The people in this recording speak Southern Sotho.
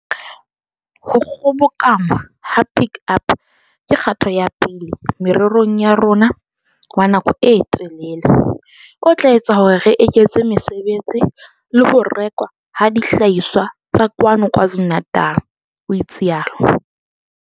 "Ho kgobokanngwa ha Pik Up ke kgato ya pele morerong wa rona wa nako e telele, o tla etsa hore re eketse mesebetsi le ho rekwa ha dihlahiswa tsa kwano KwaZulu-Natal," o itsalo.